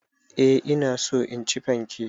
Eh ina so in ci fanke.